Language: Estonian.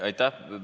Aitäh!